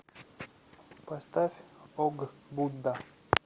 поставь ог будда